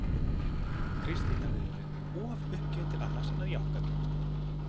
Kristín hafði verið of uppgefin til annars en að jánka því.